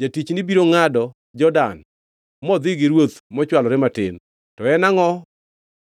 Jatichni biro ngʼado Jordan modhi gi ruoth mochwalore matin, to en angʼo